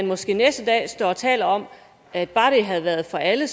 måske næste dag står og taler om at bare det havde været for alle